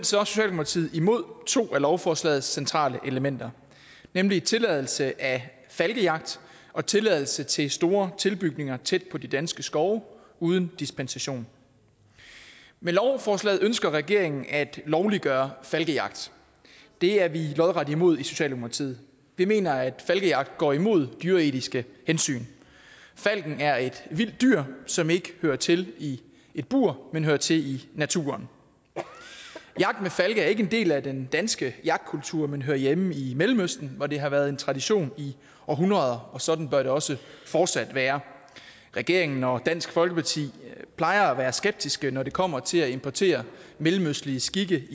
socialdemokratiet imod to af lovforslagets centrale elementer nemlig tilladelse af falkejagt og tilladelse til store tilbygninger tæt på de danske skove uden dispensation med lovforslaget ønsker regeringen at lovliggøre falkejagt det er vi lodret imod i socialdemokratiet vi mener at falkejagt går imod dyreetiske hensyn falken er et vildt dyr som ikke hører til i et bur men hører til i naturen jagt med falke er ikke en del af den danske jagtkultur men hører hjemme i mellemøsten hvor det har været en tradition i århundreder og sådan bør det også fortsat være regeringen og dansk folkeparti plejer at være skeptiske når det kommer til at importere mellemøstlige skikke